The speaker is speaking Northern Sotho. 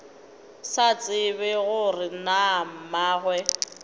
sa tsebe gore na mmagwe